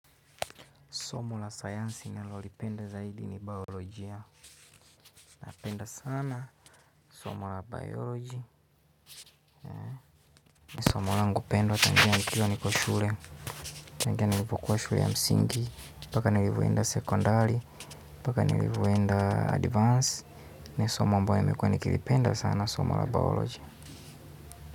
Somo la sayansi ni nalolipenda zaidi ni biolojia. Napenda sana. Somo la bioloji. Somo la ngupendwa tangia nikiwa niko shule. Tangia nilivyokuwa shule ya msingi. Mpaka nilivyoenda sekondari. Paka nilivyoenda advance. Somo ambayo nilikuwa nikilipenda sana somo la bioloji.